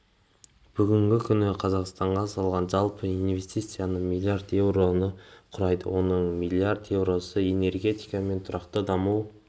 бүгінгі күні қазақстанға салған жалпы инвестициясы миллиард еуроны құрайды оның миллиард еуросы энергетика мен тұрақты даму